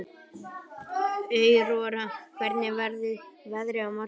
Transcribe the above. Aurora, hvernig verður veðrið á morgun?